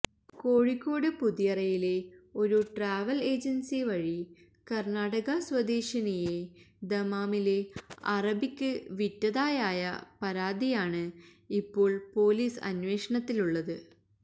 കോഴിക്കോട് പുതിയറയിലെ ഒരു travel agency വഴി കർണാടക സ്വദേശിനിയെ ദമാമിലെ അറബിക്ക് വിറ്റതായായ പരാതിയാണ് ഇപ്പോൾ പൊലീസ് അന്വേഷണത്തിലുള്ളത്